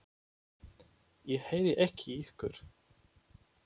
Ég heyri ekki í ykkur.